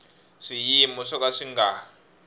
swiyimo swo ka swi nga